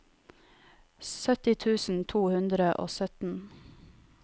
sytti tusen to hundre og sytten